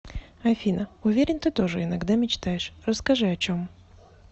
афина уверен ты тоже иногда мечтаешь расскажи о чем